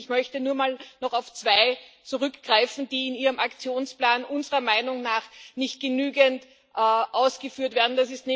Ich möchte nur noch mal auf zwei zurückgreifen, die in Ihrem Aktionsplan unserer Meinung nach nicht genügend ausgeführt werden.